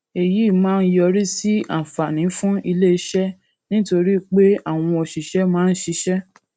èyí máa ń yọrí sí àǹfààní fún ilé iṣé nítorí pé àwọn òṣìṣé máa ń ṣiṣé